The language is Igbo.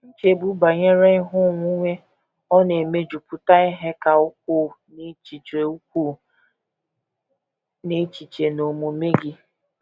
Nchegbu banyere ihe onwunwe ọ̀ na - emejupụta ihe ka ukwuu n’echiche ukwuu n’echiche na omume gị?